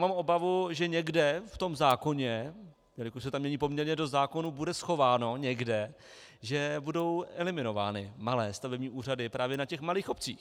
Mám obavu, že někde v tom zákoně, jelikož se tam mění poměrně dost zákonů, bude schováno někde, že budou eliminovány malé stavební úřady právě na těch malých obcích.